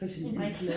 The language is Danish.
En brik